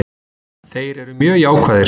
Þeir eru mjög jákvæðir